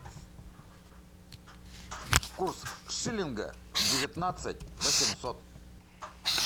курс шиллинга девятнадцать восемьсот